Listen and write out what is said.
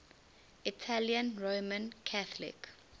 italian roman catholic